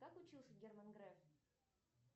как учился герман греф